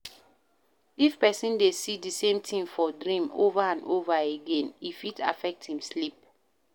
If person de see di same thing for dream over and over again, e fit affect im sleep